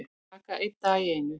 Taka einn dag í einu